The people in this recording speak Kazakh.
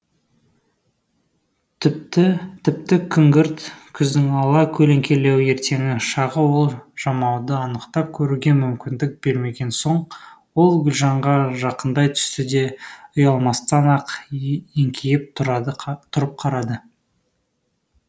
тіпті күңгірт күздің ала көлеңкелеу ертеңгі шағы ол жамауды анықтап көруге мүмкіндік бермеген соң ол гүлжанға жақындай түсті де ұялмастан ақ еңкейіп тұрып қарады